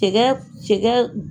cɛkɛ cɛkɛ